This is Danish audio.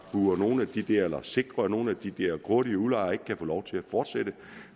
sikrer at nogle af de der grådige udlejere ikke kan få lov til at fortsætte